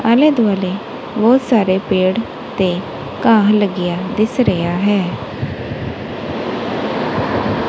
ਆਲੇ ਦੁਆਲੇ ਬਹੁਤ ਸਾਰੇ ਪੇੜ ਤੇ ਘਾਹ ਲੱਗਿਆ ਦਿਸ ਰਿਹਾ ਹੈ।